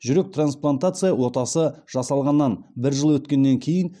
жүрек трансплантация отасы жасалғанына бір жыл өткеннен кейін